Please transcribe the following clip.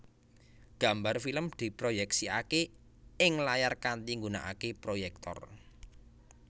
Gambar film diproyèksikaké ing layar kanthi nggunakaké proyèktor